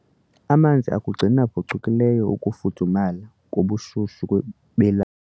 Amanzi akugcina phucukileyo ukufudumala kobushushu kwe bela.